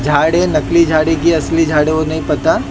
झाड़ है नकली झाड़ी की असली झाड़ी वो नहीं पता।